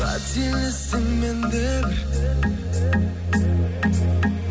қателестім мен де бір